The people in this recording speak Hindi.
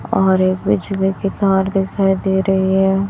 और एक पिछले के कार दिखाई दे रही है।